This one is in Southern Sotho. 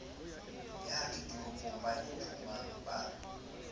ya diteropo ba iphumang ba